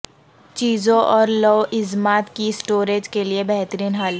چیزوں اور لوازمات کی اسٹوریج کے لئے بہترین حل